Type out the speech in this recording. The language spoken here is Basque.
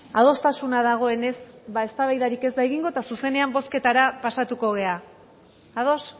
adostasuna dagoenez eztabaidarik ez da egingo eta zuzenean bozketara pasatuko gara ados